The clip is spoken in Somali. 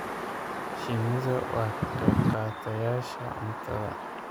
Shinnidu waa ka qaybqaatayaasha cuntada.